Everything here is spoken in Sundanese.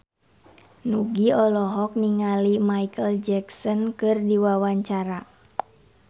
Nugie olohok ningali Micheal Jackson keur diwawancara